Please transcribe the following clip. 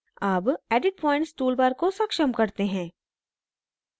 अब edit points toolbar को सक्षम करते हैं